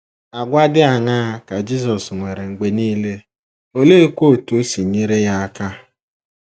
Àgwà dị aṅaa ka Jisọs nwere mgbe nile, oleekwa otú o si nyere ya aka?